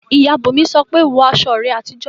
Ìyá Bùnmi sọ pé "wọ aṣọ rẹ àtijọ́!"